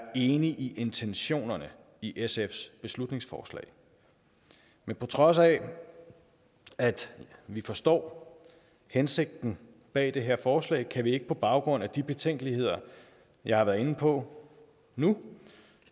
enig i intentionerne i sfs beslutningsforslag men på trods af at vi forstår hensigten bag det her forslag kan vi ikke på baggrund af de betænkeligheder jeg har været inde på nu